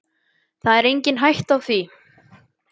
Það er engin hætta á því.